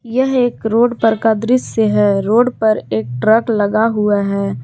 यह एक रोड पर का दृश्य है रोड पर एक ट्रक लगा हुआ है।